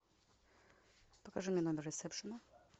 покажи мне номер ресепшена